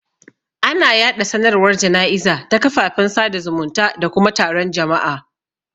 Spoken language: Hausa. Ana yaɗa sanarwar jana'iza ta kafafen sada zumunta da kuma taron jama'a.